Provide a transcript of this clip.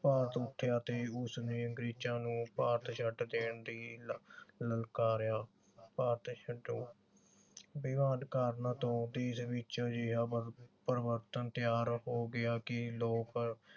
ਭਾਰਤ ਉੱਠਿਆ ਤੇ ਉਸਨੇ ਅੰਗਰੇਜਾਂ ਨੂੰ ਭਾਰਤ ਛੱਡ ਦੇਣ ਦੀ ਲਲਕਾਰਿਆ। ਭਾਰਤ ਛੱਡੋ। ਬਿਨਾਂ ਕਾਰਨਾਂ ਤੋਂ ਦੇਸ਼ ਵਿਚ ਅਜਿਹਾ ਪਰਿਵਰਤਨ ਤਿਆਰ ਹੋ ਗਿਆ ਕਿ ਲੋਕ